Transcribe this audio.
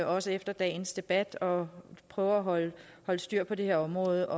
også efter dagens debat og prøve at holde styr på det her område